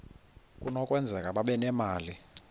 kunokwenzeka babe nemali